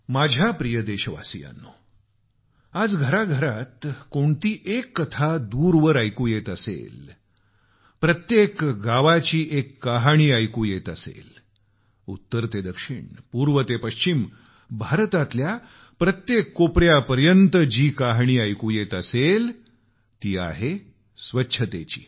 माझ्या प्रिय देशवासियांनो आज घराघरात कोणती एक कथा दूरवर ऐकू येत असेल प्रत्येक गावाची एक कहाणी ऐकू येत असेल उत्तर ते दक्षिण पूर्व ते पश्चिम भारताच्या प्रत्येक कोपऱ्यात जी कहाणी ऐकू येत असेल तर ती आहे स्वच्छतेची